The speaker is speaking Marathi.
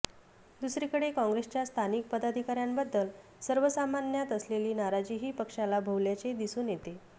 दुसरीकडे काँग्रेसच्या स्थानिक पदाधिकाऱ्यांबद्दल सर्वसामान्यांत असलेली नाराजीही पक्षाला भोवल्याचे दिसून येते